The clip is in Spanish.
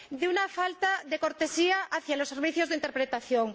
una falta de cortesía hacia los servicios de interpretación.